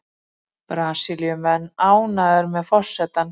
Brasilíumenn ánægðir með forsetann